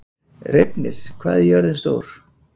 Reifnir, hvað er jörðin stór?